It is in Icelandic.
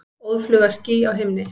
Óðfluga ský á himni.